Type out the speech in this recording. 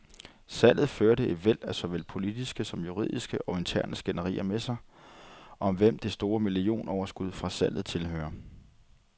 Salget førte et væld af såvel politiske som juridiske og interne skænderier med sig, om hvem det store millionoverskud fra salget tilhører.